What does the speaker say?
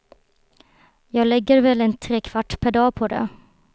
Jag lägger väl en tre kvart per dag på det.